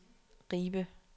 Ribe